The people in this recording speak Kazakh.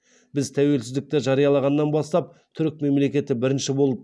біз тәуелсіздікті жариялағаннан бастап түрік мемлекеті бірінші болып